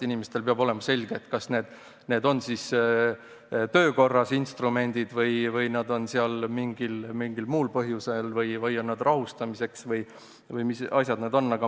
Inimestele peab olema selge, kas need on töökorras instrumendid või on need seal mingil muul põhjusel või on need rahustamiseks või mis asjad need üldse on.